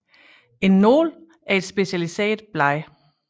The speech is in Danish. En nål er et specialiseret blad